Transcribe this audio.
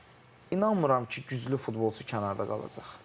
Yəni bu gün inanmıram ki, güclü futbolçu kənarda qalacaq.